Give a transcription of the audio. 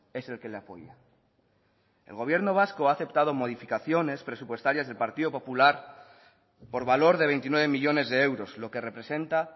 es el que le apoya el gobierno vasco ha aceptado modificaciones presupuestarias del partido popular por valor de veintinueve millónes de euros lo que representa